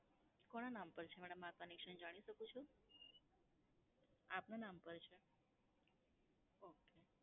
કોના નામ પર છે madam આ connection જાણી શકું છું? આપના નામ છે? ઓકે.